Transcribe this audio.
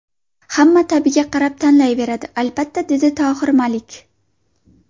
Hamma ta’biga qarab tanlayveradi, albatta”, dedi Tohir Malik.